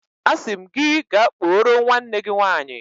Asim gi ka kporo nwanne gi nwanyi.